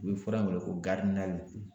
U bɛ fura in wele ko